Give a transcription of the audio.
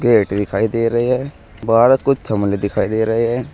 पेट दिखाई दे रहे हैं दिखाई दे रहे हैं।